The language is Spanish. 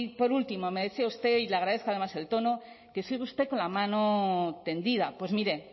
por último me decía usted y le agradezco además el tono que sigue usted con la mano tendida pues mire